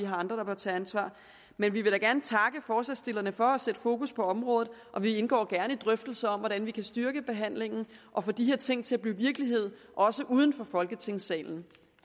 andre der bør tage ansvar men vi vil da gerne takke forslagsstillerne for at sætte fokus på området og vi indgår gerne i drøftelser om hvordan vi kan styrke behandlingen og få de her ting til at blive virkelighed også uden for folketingssalen